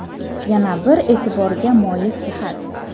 Yana bir e’tiborga molik jihat.